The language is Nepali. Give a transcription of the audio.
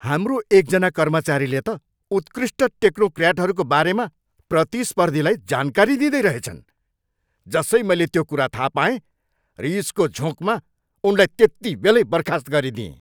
हाम्रो एकजना कर्मचारीले त उत्कृष्ट टेक्नोक्र्याटहरूको बारेमा प्रतिस्पर्धीलाई जानकारी दिँदै रहेछन्। जसै मैले त्यो कुरा थाहा पाएँ, रिसको झोँकमा उनलाई त्यतिबेलै बर्खास्त गरिदिएँ।